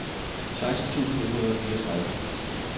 seksten tusind et hundrede og fireogtredive